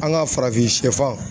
An ka farafin sɛfan